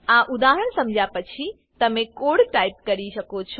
આ ઉદાહરણ સમજ્યા પછી તમે કોડ ટાઈપ કરી શકો છો